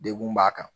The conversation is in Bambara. Degun b'a kan